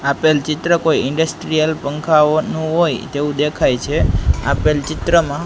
આપેલ ચિત્ર કોઈ ઇન્ડસ્ટ્રીયલ પંખાઓનુ હોય તેવુ દેખાય છે આપેલ ચિત્રમાં--